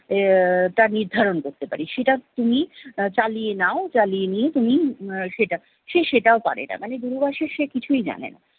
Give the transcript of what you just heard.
তা নির্ধারণ করতে পারি সেটা তুমি চালিয়ে নাও চালিয়ে নিয়ে তুমি উম সেটা, সে সেটাও পারে না। মানে দূরাভাষের সে কিছুই জানে না।